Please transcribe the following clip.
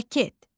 Jaket.